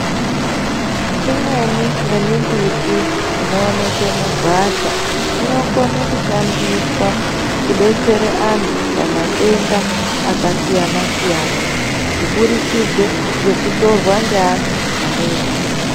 Imweni yemimbiti inoonekwe mugwasha inokone kushandiswa kubetsere antu pamatenda akasiyana siyana kuburikidze yekutorwa ngeantu anoiziya